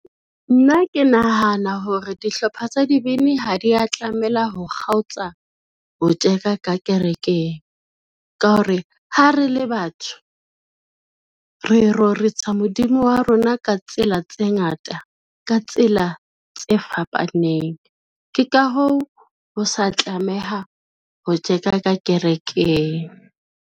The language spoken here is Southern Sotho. Nna ke nahana hore dihlopha tsa dibini ha dia tlamela ho kgaotsa ho tjeka ka kerekeng, ka hore ha re le batho, re rorisa Modimo wa rona ka tsela tse ngata, ka tsela tse fapaneng, ke ka hoo, ho sa tlameha ho tjeka ka kerekeng.